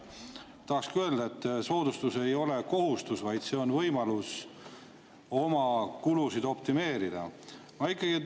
Tahakski öelda, et soodustus ei ole kohustus, vaid see on võimalus oma kulusid optimeerida.